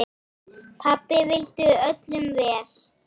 Pabbi vildi öllum vel.